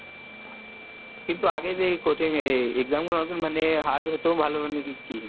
কিন্তু আগে যে এই কঠিন এই exam গুলো মানে hard হতো ভালো মানে কি?